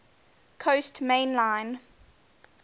coast main line